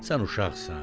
Sən uşaqsan.